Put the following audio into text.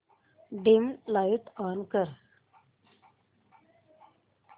dim light on कर